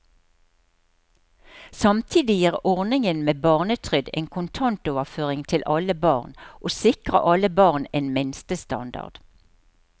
Samtidig gir ordningen med barnetrygd en kontantoverføring til alle barn, og sikrer alle barn en minstestandard.